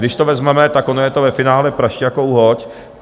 Když to vezmeme, tak ono je to ve finále prašť jako uhoď.